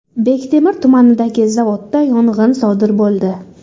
Bektemir tumanidagi zavodda yong‘in sodir bo‘ldi.